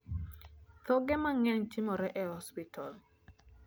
thoge mangeny timore e hospital